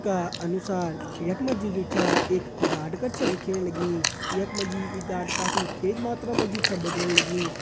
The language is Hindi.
चित्र का अनुसार यख मा जी जू छ एक गाड कर छा दिखेण लगीं यख मा जी गाड काफी तेज मात्रा मा जी छ बगण लगीं।